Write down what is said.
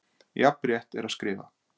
Jafn rétt er að skrifa